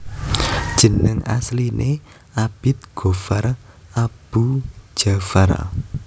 Jeneng asline Abid Ghoffar Aboe Dja far